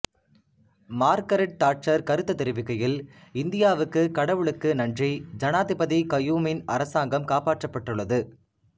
Margaret Thatcher கருத்து தெரிவிக்கையில் இந்தியாவுக்கு கடவுளுக்கு நன்றி ஜனாதிபதி கயூமின் அரசாங்கம் காப்பாற்றப்பட்டுள்ளது